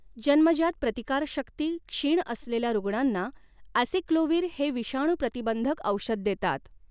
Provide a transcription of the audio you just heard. जन्मजात प्रतिकारशक्ती क्षीण असलेल्या रुग्णाना ॲेसिक्लोव्हिर हे विषाणूप्रतिबंधक औषध देतात.